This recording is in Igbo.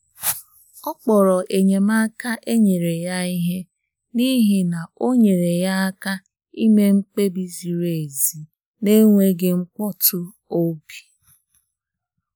Ọ kpọrọ enyemaka e nyere ya ihe, n’ihi na o nyere ya aka ime mkpebi ziri ezi n’enweghị mkpọtụ obi.